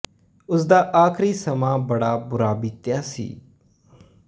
ਉਸ ਦਾ ਆਖ਼ਰੀ ਸਮਾਂ ਬੜਾ ਬੁਰਾ ਬੀਤਿਆ ਸੀ